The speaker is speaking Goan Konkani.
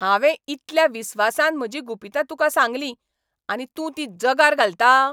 हांवें इतल्या विस्वासान म्हजीं गुपितां तुका सांगलीं. आनी तूं तीं जगार घालता?